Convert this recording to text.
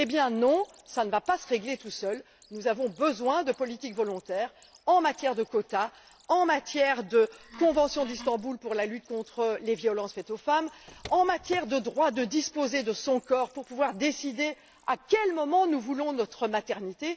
Non, cela ne va pas se régler tout seul, nous avons besoin de politiques volontaires en matière de quotas et pour ce qui est de la convention d'Istanbul pour la lutte contre les violences faites aux femmes ainsi que du droit de disposer de son corps pour pouvoir décider à quel moment nous voulons notre maternité.